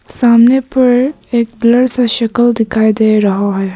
सामने पर एक ब्लर सा शक्ल दिखाई दे रहा है।